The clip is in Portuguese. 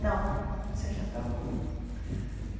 Não, sem chapéu não vou.